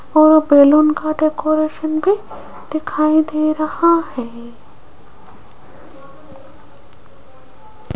और बैलून का डेकोरेशन भी दिखाई दे रहा है।